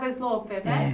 Sloper, né? É